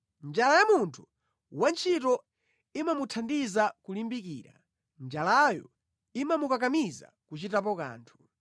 Njala ya munthu wantchito imamuthandiza kulimbikira; njalayo imamukakamiza kuchitapo kanthu.